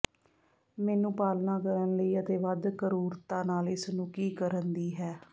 ਮੈਨੂੰ ਪਾਲਣਾ ਕਰਨ ਲਈ ਅਤੇ ਵੱਧ ਕਰੂਰਤਾ ਨਾਲ ਇਸ ਨੂੰ ਕੀ ਕਰਨ ਦੀ ਹੈ